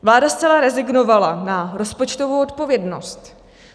Vláda zcela rezignovala na rozpočtovou odpovědnost.